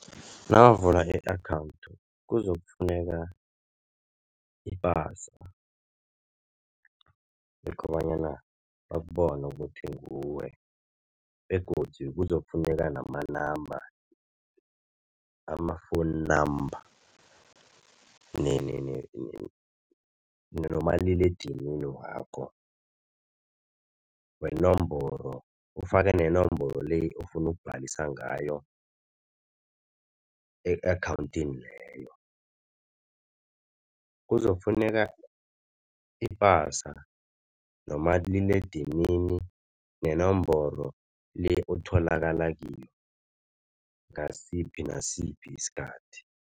Nakavula i-akhawundi kuzokufuneka ipasa kobanyana bakubone ukuthi nguwe begodu kuzokufuneka namanamba amafowuninamba, nomaliledinini wakho wenomboro, ufake nenomboro le ofuna obhalisa ngayo e-akhawundini leyo. Kuzokufuneka ipasa nomaliledinini nenomboro le otholakala kiyo ngasiphi nasiphi isikhathi.